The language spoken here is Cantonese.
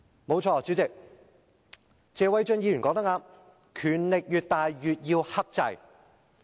不錯，主席，謝偉俊議員說得正確，權力越大越要克制。